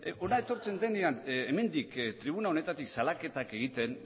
hona etortzen denean hemendik tribuna honetatik salaketak egiten